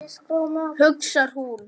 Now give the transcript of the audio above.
hugsar hún.